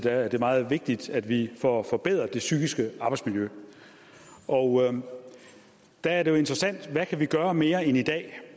er det meget vigtigt at vi får forbedret det psykiske arbejdsmiljø og der er det jo interessant hvad vi kan gøre mere end i dag